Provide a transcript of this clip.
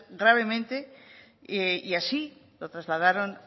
gravemente y así lo trasladaron